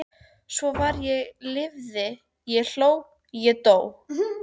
Svo var ég lifði ég hló ég dó